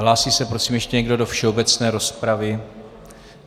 Hlásí se prosím ještě někdo do všeobecné rozpravy?